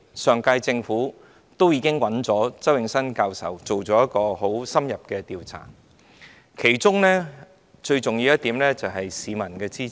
上屆政府委託周永新教授進行很深入的調查，其中最重要的一點是市民的支持。